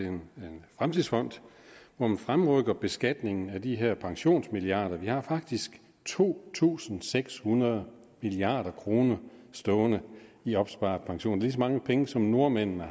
en fremtidsfond hvor man fremrykker beskatningen af de her pensionsmilliarder vi har faktisk to tusind seks hundrede milliard kroner stående i opsparet pension lige så mange penge som nordmændene